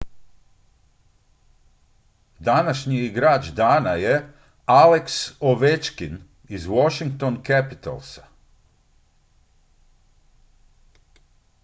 današnji igrač dana je alex ovechkin iz washington capitalsa